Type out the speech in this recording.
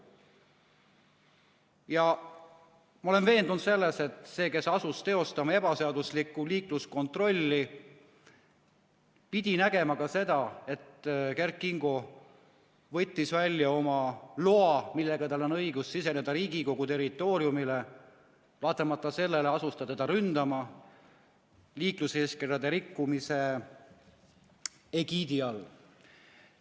Ja ma olen veendunud selles, et see, kes asus teostama ebaseaduslikku liikluskontrolli, pidi nägema ka seda, et Kert Kingo võttis välja oma loa, millega tal on õigus siseneda Riigikogu territooriumile, aga vaatamata sellele asus ta teda ründama liikluseeskirjade rikkumise egiidi all.